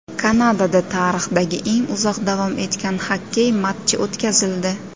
Kanadada tarixdagi eng uzoq davom etgan xokkey matchi o‘tkazildi.